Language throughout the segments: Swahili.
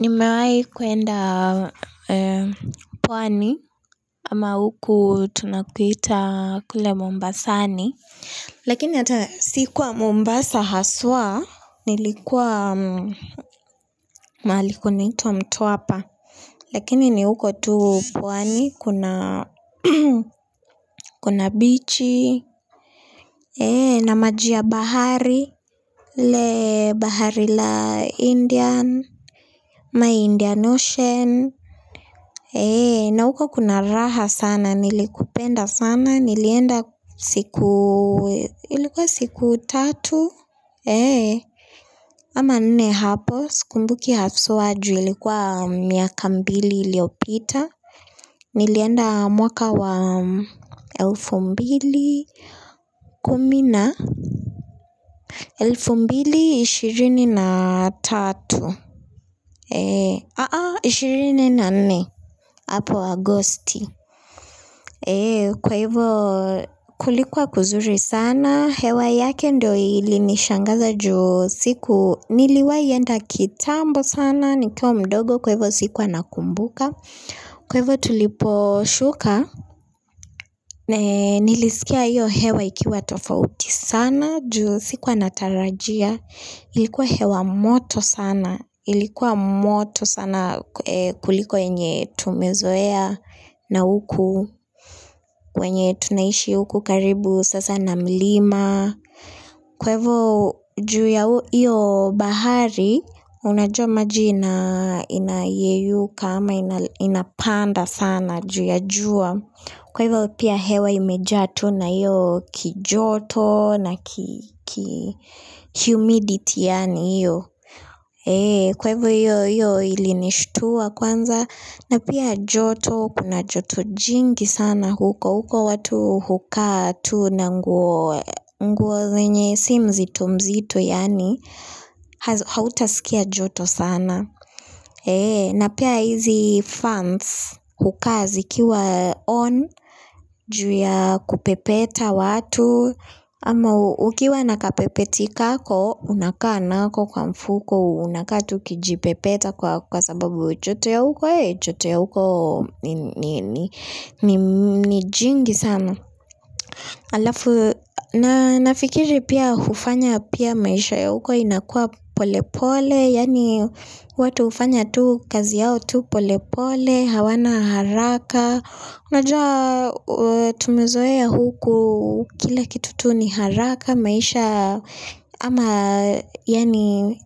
Nimewahi kwenda pwani ama huku tunakuita kule Mombasani. Lakini hata sikuwa Mombasa haswa nilikuwa mahali kunaitwa mtwapa. Lakini ni huko tu pwani kuna kuna bichi. Eh na maji ya bahari eh bahari la indian. Ama indian ocean. Na huko kuna raha sana, nilikupenda sana, nilienda siku, ilikuwa siku tatu ama nne hapo, sikumbuki haswa juu ilikuwa miaka mbili iliyopita nilienda mwaka wa elfu mbili kumi na elfu mbili ishirini na tatu eee, ishirini na nne hapo agosti eee, kwa hivyo kulikuwa kuzuri sana hewa yake ndio ilinishangaza juu siku niliwahi enda kitambo sana, nikiwa mdogo kwa hivyo sikuwa nakumbuka kwa hivyo tuliposhuka eee, nilisikia hiyo hewa ikiwa tofauti sana juu sikuwa natarajia ilikuwa hewa moto sana ilikuwa moto sana kuliko yenye tumezoea na huku, wenye tunaishi huku karibu, sasa na milima. Kwa hivyo juu ya hiyo bahari, unajua maji inainayeyuka ama inapanda sana juu ya jua. Kwa hivyo pia hewa imejaa tu na hiyo kijoto na humidity yaani hiyo. Kwa hivo hiyo ilinishtua kwanza na pia joto kuna joto jingi sana huko huko watu hukaa tu na nguo zenye si mzito mzito yaani hautasikia joto sana. Na pia hizi fans hukaa zikiwa on juu ya kupepeta watu ama ukiwa na kapepeti kako unakaa nako kwa mfuko unakaa tu ukijipepeta kwa sababu joto ya huko joto ya huko ni jingi sana alafu na nafikiri pia hufanya pia maisha ya huko inakuwa pole pole yaani watu hufanya tu kazi yao tu pole pole hawana haraka unajua tumezoeaa huku kila kitu tu ni haraka maisha ama yaani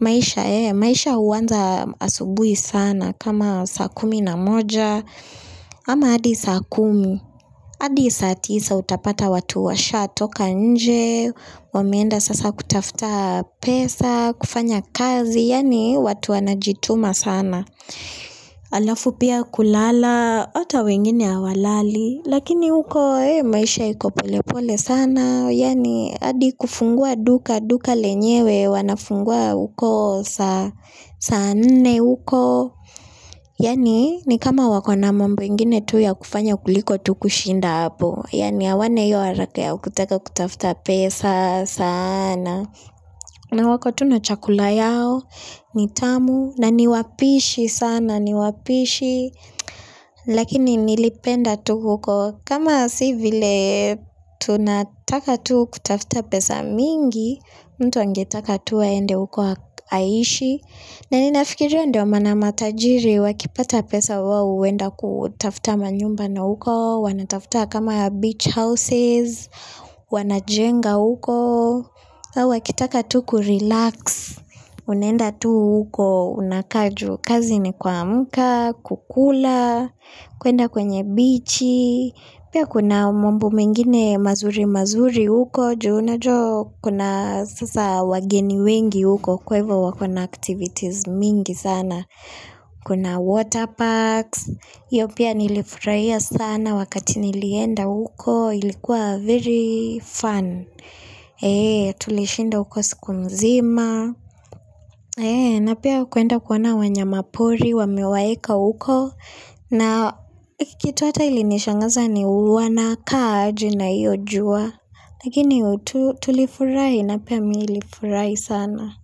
maisha eeh maisha huanza asubuhi sana kama saa kumi na moja ama hadi saa kumi hadi saa tisa utapata watu washatoka nje. Wameenda sasa kutafuta pesa kufanya kazi yaani watu wanajituma sana alafu pia kulala hata wengine hawalali lakini huko maisha iko pole pole sana yaani hadi kufungua duka duka lenyewe wanafungua huko saa nne huko yaani ni kama wakona mambo ingine tu ya kufanya kuliko tu kushinda hapo yaani hawana hio haraka kutaka kutafuta pesa sana na wako tu na chakula yao, ni tamu, na ni wapishi sana, ni wapishi, lakini nilipenda tu huko, kama si vile tunataka tu kutafuta pesa mingi, mtu angetaka tu aende huko aishi. Na ni nafikiria ndio maana matajiri wakipata pesa wao huenda kutafuta manyumba na huko, wanatafutama kama beach houses, wanajenga huko, wakitaka tu kurelax, unaenda tu huko unakaa juu kazi ni kuamka, kukula, kuenda kwenye bichi, pia kuna mwambo mengine mazuri mazuri huko, juu unajua kuna sasa wageni wengi huko kwa hivyo wakona activities mingi sana kuna water parks hio pia nilifurahia sana wakati nilienda huko ilikuwa very fun tulishinda huko siku mzima na pia kuenda kuona wanyamapori wamewaeka huko na kitu hata ilinishangaza ni wanakaa aje na hio jua lakini tulifurahi na pia mimi nilifurahi sana.